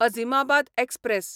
Azimabad express